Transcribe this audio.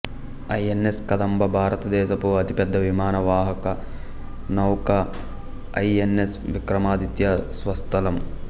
INS Kadamba భారతదేశపు అతిపెద్ద విమాన వాహక నౌక ఐఎన్ఎస్ విక్రమాదిత్య స్వస్థలం